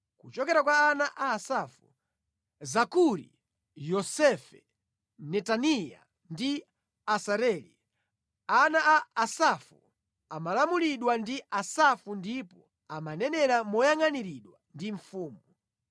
Kuchokera kwa ana a Asafu: Zakuri, Yosefe, Netaniya ndi Asareli. Ana a Asafu amalamulidwa ndi Asafu ndipo amanenera moyangʼaniridwa ndi mfumu.